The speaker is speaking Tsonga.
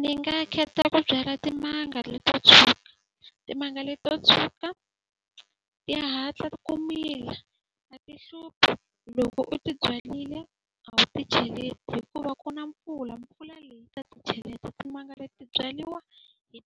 Ni nga kheta ku byala timanga leto tshuka. Timanga leti to tshuka ti hatla ti ku mila, a ti hluphi. Loko u tibyarile a wu ti cheleti hikuva ku na mpfula, mpfula leyi yi ta ti cheleta. Timanga leti ti byariwa hi